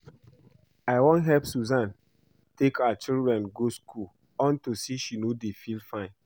I wan help Susan take her children to school unto say she no dey feel fine